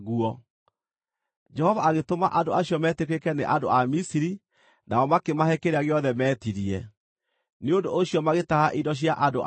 Jehova agĩtũma andũ acio metĩkĩrĩke nĩ andũ a Misiri nao makĩmahe kĩrĩa gĩothe meetirie; nĩ ũndũ ũcio magĩtaha indo cia andũ a Misiri.